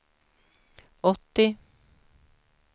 åttio